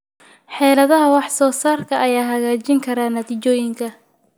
Xeeladaha wax soo saarka ayaa hagaajin kara natiijooyinka.